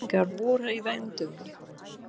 Hvers kyns nýjungar voru í vændum.